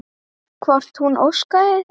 Hvort hún óskaði þess?